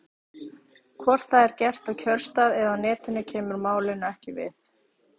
Hvort það er gert á kjörstað eða á Netinu kemur málinu ekki við.